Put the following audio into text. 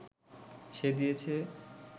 সে দিয়েছে